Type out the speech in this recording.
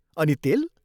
अनि तेल!